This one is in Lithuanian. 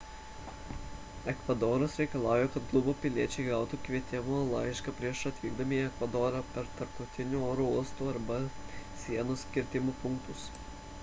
ekvadoras reikalauja kad kubos piliečiai gautų kvietimo laišką prieš atvykdami į ekvadorą per tarptautinius oro uostus arba sienos kirtimo punktus